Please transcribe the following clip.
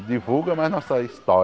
Divulga mais nossa